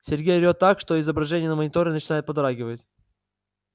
сергей орёт так что изображение на мониторе начинает подрагивать